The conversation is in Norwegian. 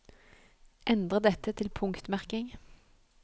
Endre dette til punktmerking